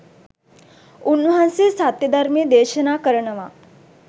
උන්වහන්සේ සත්‍ය ධර්මය දේශනා කරනවා